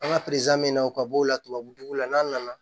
An ka min na o ka b'o la tubabu la n'an nana